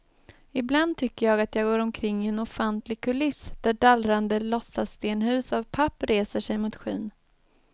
Ibland tycker jag att jag går omkring i en ofantlig kuliss, där dallrande låtsasstenhus av papp reser sig mot skyn.